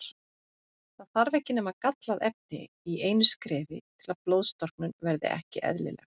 Það þarf ekki nema gallað efni í einu skrefi til að blóðstorknun verði ekki eðlileg.